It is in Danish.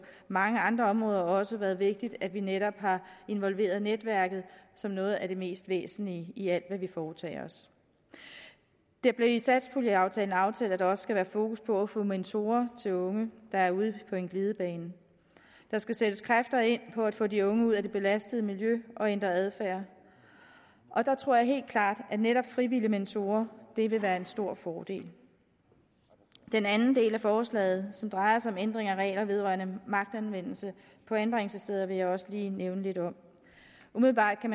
mange andre områder også været vigtigt at vi netop har involveret netværket som noget af det mest væsentlige i alt hvad vi foretager os det blev i satspuljeaftalen aftalt at der også skal være fokus på at få mentorer til unge der er ude på en glidebane der skal sættes kræfter ind på at få de unge ud af det belastede miljø og ændre adfærd og der tror jeg helt klart at netop frivillige mentorer vil være en stor fordel den anden del af forslaget som drejer sig om ændring af regler vedrørende magtanvendelse på anbringelsessteder vil jeg også lige nævne lidt om umiddelbart kan